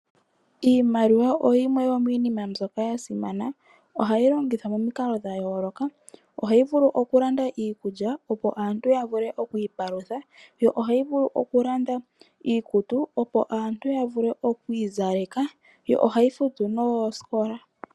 Iimaliwa oyimwe yomiinima mbyoka ya simana. Ohayi longithwa momikalo dha yooloka. Ohayi vulu okulanda iikulya, opo aantu ya vule okwiipalutha, yo ohayi vulu okulanda iikutu, opo aantu ya vule okwiizaleka, yo ohayi futu noosikola.